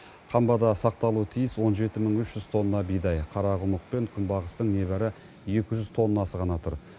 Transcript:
қамбада сақталуы тиіс он жеті мың үш жүз тонна бидай қарақұмық пен күнбағыстың небәрі екі жүз тоннасы ғана тұр